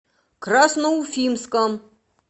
красноуфимском